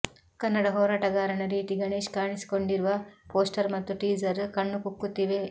ಕನ್ನಡ ಹೋರಾಟಗಾರನ ರೀತಿ ಗಣೇಶ್ ಕಾಣಿಸಿಕೊಂಡಿರುವ ಪೋಸ್ಟರ್ ಮತ್ತು ಟೀಸರ್ ಕಣ್ಣುಕುಕ್ಕುತ್ತಿವೆ